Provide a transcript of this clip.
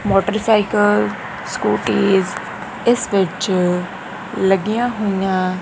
Motorcycle scooties ਇੱਸ ਵਿੱਚ ਲੱਗੀਆਂ ਹੋਈਆਂ।